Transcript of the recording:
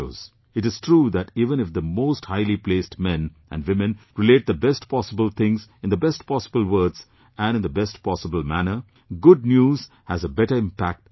It is true that even if the most highly placed men and women relate the best possible things in the best possible words and in the best possible manner, good news has a better impact than that